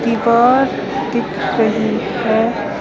एक और दिख रहे है।